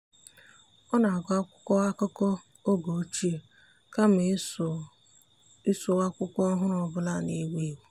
ọ́ nà-ágụ́ ákwụ́kwọ́ ákụ́kọ́ ọ́gé ochie kama iso iso ákwụ́kwọ́ ọ́hụ́rụ́ ọ bụla nà-èwú éwú.